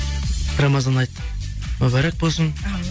рамазан айт мүбәрәк болсын әумин